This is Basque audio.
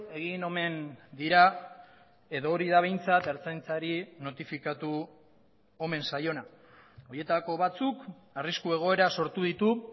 egin omen dira edo hori da behintzat ertzaintzari notifikatu omen zaiona horietako batzuk arrisku egoera sortu ditu